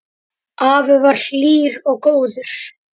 Afi var hlýr og góður.